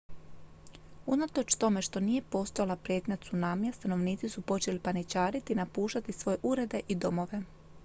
unatoč tome što nije postojala prijetnja tsunamija stanovnici su počeli paničariti i napuštati svoje urede i domove